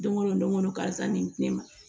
Don o don ko don karisa nin di ne ma